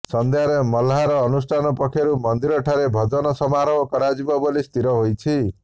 ସନ୍ଧ୍ୟାରେ ମହ୍ଲାର ଅନୁଷ୍ଠାନ ପକ୍ଷରୁ ମନ୍ଦିରଠାରେ ଭଜନ ସମାରୋହ କରାଯିବ ବୋଲି ସ୍ଥିର ହୋଇଛି